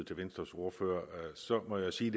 ordføreren